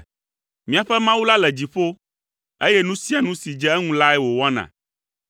Míaƒe Mawu la le dziƒo, eye nu sia nu si dze eŋu lae wòwɔna,